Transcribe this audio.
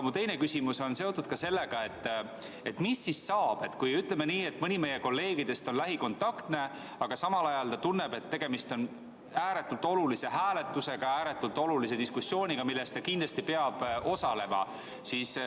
Mu teine küsimus on seotud sellega, et mis saab siis, kui mõni meie kolleegidest on lähikontaktne, aga ta tunneb, et tegemist on ääretult olulise hääletusega, ääretult olulise diskussiooniga, milles ta kindlasti peab osalema.